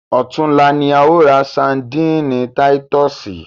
Ọ̀tunla ni a ó ra sandíìnì Titúsìì.